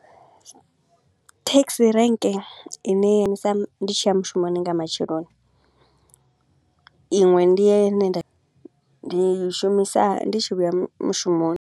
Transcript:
taxi rank i ne ya ndi tshi ya mushumoni nga matsheloni, iṅwe ndi ye nda i ndi i shumisa ndi tshi vhuya mu mushumoni.